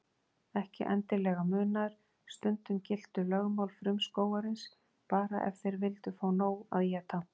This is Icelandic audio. Ekki endilega munaður, stundum giltu lögmál frumskógarins bara ef þeir vildu fá nóg að éta.